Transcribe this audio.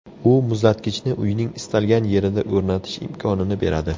U muzlatgichni uyning istalgan yerida o‘rnatish imkonini beradi.